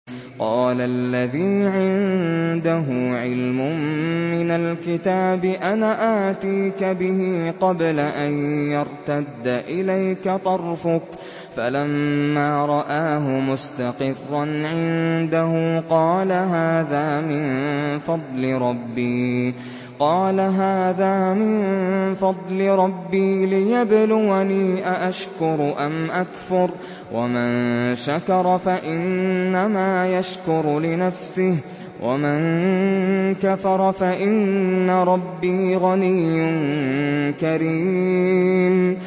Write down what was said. قَالَ الَّذِي عِندَهُ عِلْمٌ مِّنَ الْكِتَابِ أَنَا آتِيكَ بِهِ قَبْلَ أَن يَرْتَدَّ إِلَيْكَ طَرْفُكَ ۚ فَلَمَّا رَآهُ مُسْتَقِرًّا عِندَهُ قَالَ هَٰذَا مِن فَضْلِ رَبِّي لِيَبْلُوَنِي أَأَشْكُرُ أَمْ أَكْفُرُ ۖ وَمَن شَكَرَ فَإِنَّمَا يَشْكُرُ لِنَفْسِهِ ۖ وَمَن كَفَرَ فَإِنَّ رَبِّي غَنِيٌّ كَرِيمٌ